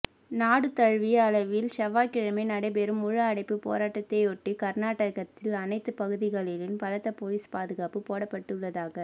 நாடு தழுவிய அளவில் செவ்வாய்க்கிழமை நடைபெறும் முழு அடைப்புப் போராட்டத்தையொட்டி கா்நாடகத்தில் அனைத்துப் பகுதிகளிலும் பலத்த போலீஸ் பாதுகாப்புப் போடப்பட்டுள்ளதாக